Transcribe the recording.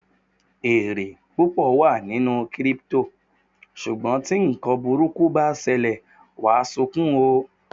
Èrè púpọ̀ wà nínú Kírípútò, ṣùgbọ́n tí ǹkan burúkú bá ṣẹlẹ̀, wàá sunkún o!